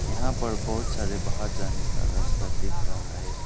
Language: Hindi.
यहां पर बहोत सारे बाहर जाने का रास्ता दिख रहा है।